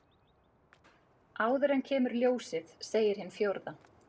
Áður en kemur ljósið segir hin fjórða.